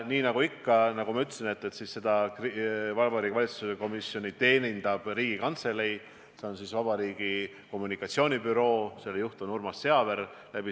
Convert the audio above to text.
Nii nagu ikka, nagu ma ütlesin, teenindab selles osas Vabariigi Valitsuse komisjoni Riigikantselei juurde kuuluv valitsuse kommunikatsioonibüroo, mille juht on Urmas Seaver.